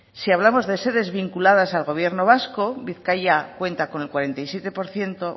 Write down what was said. si hablamos de sedes vinculadas al gobierno vasco bizkaia cuenta con el cuarenta y siete por ciento